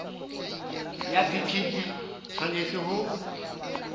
ya bt di tshwanetse ho